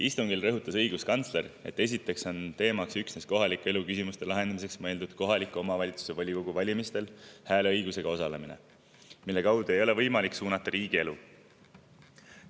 Istungil rõhutas õiguskantsler, et esiteks on teemaks üksnes kohaliku elu küsimuste lahendamiseks mõeldud kohaliku omavalitsuse volikogu valimistel hääleõigusega osalemine, mille kaudu ei ole võimalik suunata riigielu.